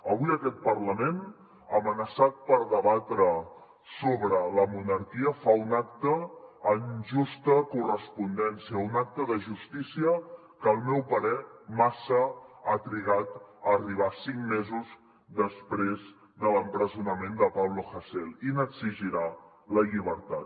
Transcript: avui aquest parlament amenaçat per debatre sobre la monarquia fa un acte en justa correspondència un acte de justícia que al meu parer massa ha trigat a arribar cinc mesos després de l’empresonament de pablo hasél i n’exigirà la llibertat